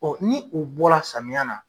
Ɔ ni u bɔ la samiya na.